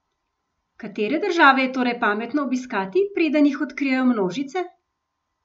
Katere države je torej pametno obiskati, preden jih odkrijejo množice?